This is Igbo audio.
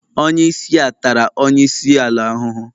onye isi a tara onye isi ala ahuhu.